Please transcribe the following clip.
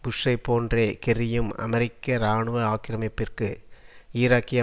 புஷ்ஷை போன்றே கெர்ரியும் அமெரிக்க இராணுவ ஆக்கிரமிப்பிற்கு ஈராக்கிய